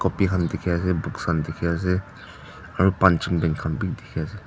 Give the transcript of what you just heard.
dikhiase books khan dikhiase aro punching bag khan bi dikhiase.